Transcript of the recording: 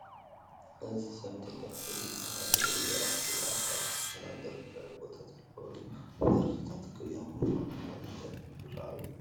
እዚ ሰብ ቴዲ ኣፍሮ ዝበሃል ውሩይ ደራፊ እዩ፡፡ ኣብ ታሪክ ዘመናዊ ደርፊ ልዑል ቦታ ዘለዎ እዩ፡፡ ደርፍታቱ ቅኔያዊ ብምዃኖም ልዕሊ ደርፊ ዝርአዩ እዮም፡፡